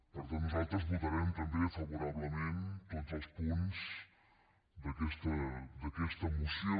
per tant nosaltres votarem també favorablement tots els punts d’aquesta moció